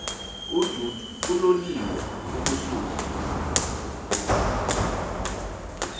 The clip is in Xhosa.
adud uloliwe ukusuk